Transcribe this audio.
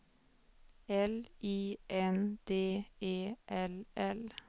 L I N D E L L